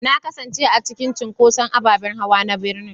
Na kasance a cikin cunkoson ababen hawa na birnin